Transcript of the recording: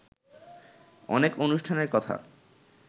অনেক অনুষ্ঠানের কথা